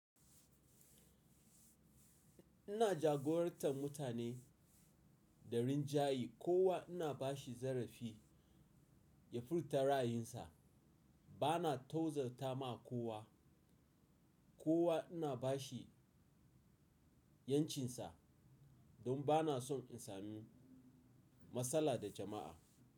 Ina jagorantar mutane da rinjaye, kowa ina bashi zarafi ya furta ra'ayinsa. Bana tozartama kowa, kowa ina bashi 'yan cinsa don bana son in samu matsala da jama'a.